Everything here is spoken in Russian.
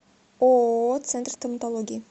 ооо центр стоматологии